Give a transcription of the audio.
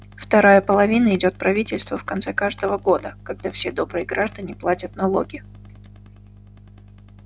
вторая половина идёт правительству в конце каждого года когда все добрые граждане платят налоги